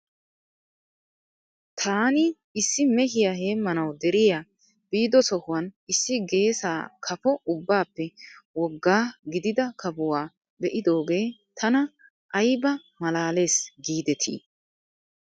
Taani issi mehiyaa heemmanaw deriyaa biido sohuwan issi geesaa kafo ubbaappe wogga gidida kafuwaa be'idoogee tana ayba malaales giidetii .